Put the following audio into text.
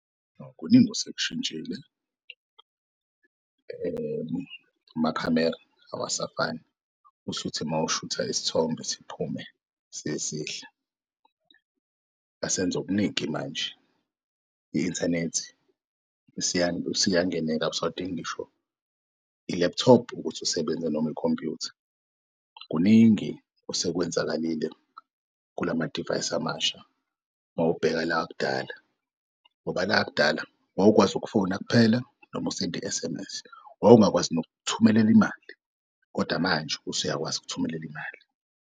Kuningi osekushintshile amakhamera awasafani ushuthe mawushutha isithombe siphume sisihle, asenzokuningi manje i-inthanethi isiyangeneka awusadingi ngisho i-laptop ukuthi usebenze noma ikhompuyutha. Kuningi osekwenzakalile kulamadivayisi amasha mawubheka lak'dala ngoba lak'dala wawukwazi ukufona kuphela noma usendi-S_M_S wawungakwazi nokuthumel'mali kodwa manje usuyakwazi ukuthumelel'mali.